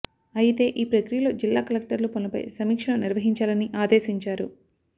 అయితే ఈ ప్రక్రియ లో జిల్లా కలెక్టర్లు పనుల పై సమీక్ష లు నిర్వహించాలని ఆదేశించారు